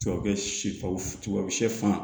Tubabu sɛ faw sɛfan